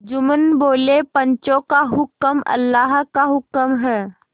जुम्मन बोलेपंचों का हुक्म अल्लाह का हुक्म है